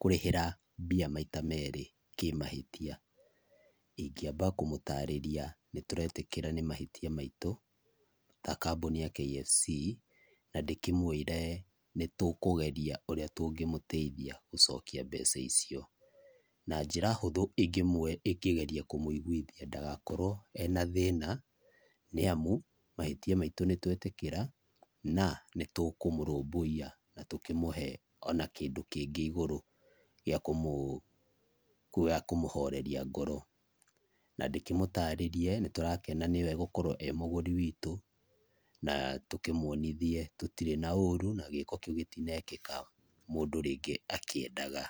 kũrĩhĩra mbia maita merĩ kĩmahĩtia. Ingĩamba kũmũtarĩria nĩtũretĩkĩra nĩ mahĩtia maitũ ta kambũni ya KFC, na ndĩkĩmwĩre nĩtũkũgeria ũrĩa tũngĩmũteithia gũcokia mbeca icio. Na njĩra hũthũ ingĩgeria kũmũigwithia ndagakorwo ena thĩna nĩamu mahĩtia maitũ nĩtwetĩkĩra na nĩtũkũmũrũmbũiya na tũkĩmũhe ona kĩndũ kĩngĩ igũrũ gĩa kũmũ gĩa kũmũhoreria ngoro, na ndĩkĩmũtarĩrĩe nĩtũrakena nĩwe gũkorwo e mũgũri witũ, na tũkĩmuonithie tũtirĩ na ũrũ na gĩko kĩu gĩtinekĩka mũndũ rĩngĩ akĩendaga.